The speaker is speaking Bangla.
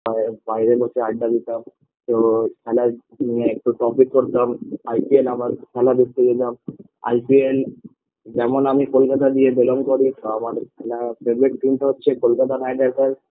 আর বাইরে বসে আড্ডা দিতাম তো খেলা নিয়ে একটু topic করতাম ipl -এ আবার খেলা দেখতে যেতাম ipl যেমন আমি কলকাতা দিয়ে belong করি তা আমার favorite team -টা হচ্ছে কলকাতা night riders